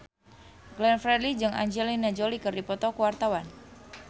Glenn Fredly jeung Angelina Jolie keur dipoto ku wartawan